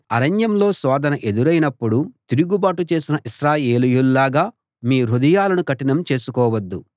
అరణ్యంలో శోధన ఎదురైనప్పుడు తిరుగుబాటు చేసిన ఇశ్రాయేలీయుల్లాగా మీ హృదయాలను కఠినం చేసుకోవద్దు